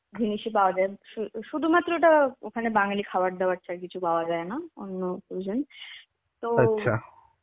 জিনিস এ পাওয়া যায়. শু~ শুধুমাত্র ওটা ওখানে বাঙালি খাবার দাবার ছাড়া কিছু পাওয়া যায় না অন্য cusuine তো